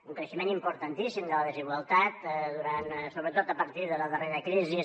un creixement importantíssim de la desigualtat sobretot a partir de la darrera crisi